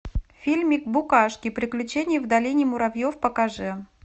фильмик букашки приключение в долине муравьев покажи